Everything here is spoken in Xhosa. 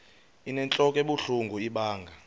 inentlok ebuhlungu ibanga